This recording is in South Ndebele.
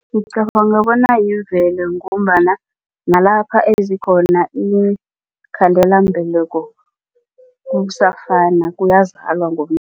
Ngicabanga bona yimvelo ngombana nalapha ezikhona iinkhandelambeleko kusafana